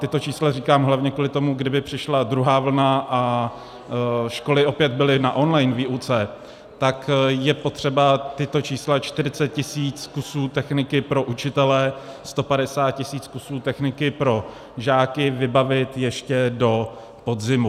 Tato čísla říkám hlavně kvůli tomu, kdyby přišla druhá vlna a školy opět byly na online výuce, tak je potřeba tato čísla, 40 tisíc kusů techniky pro učitele, 150 tisíc kusů techniky pro žáky vybavit ještě do podzimu.